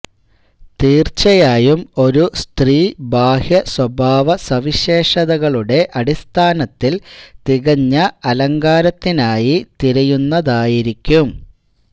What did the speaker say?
തീർച്ചയായും ഒരു സ്ത്രീ ബാഹ്യ സ്വഭാവസവിശേഷതകളുടെ അടിസ്ഥാനത്തിൽ തികഞ്ഞ അലങ്കാരത്തിനായി തിരയുന്നതായിരിക്കും